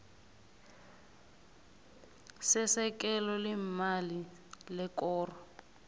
sesekelo leemali lekoro